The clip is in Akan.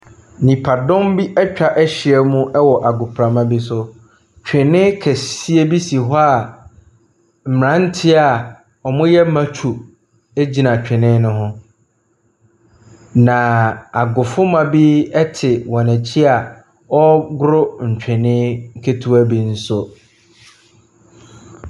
Nnipadɔm bi atwa ahyia mu wɔ agoprama bi so. Twene kɛseɛ bi si hɔ a mmeranteɛ a wɔyɛ matwo gyina twene ne ho. Na agofomba bi te wɔn akyi a wɔregoro twene ketewa bi so.